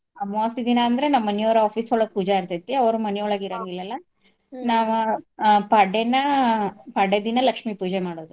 ಅಮ್ವಾಸಿ ದಿನಾ ಅಂದ್ರ ನಮ್ ಮನಿಯೋರ office ಒಳ್ಗ ಪೂಜೆ ಇರ್ತೇತಿ ಅವ್ರ ಮನಿಒಳ್ಗ ಇರಂಗಿಲ್ಲಲ್ ನಾವ ಪಾಡ್ಯನ, ಪಾಡ್ಯ ದಿನಾ ಲಕ್ಷ್ಮೀ ಪೂಜೆ ಮಾಡೋದು.